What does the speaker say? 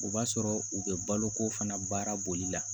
O b'a sɔrɔ u bɛ balo ko fana baara boli la